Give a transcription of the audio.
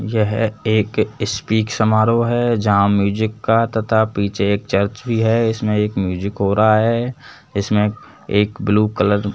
यह एक स्पीक समारोह है जहां म्यूजिक का तथा पीछे एक चर्च भी है इसमें एक म्यूजिक हो रहा है इसमें एक ब्लू कलर --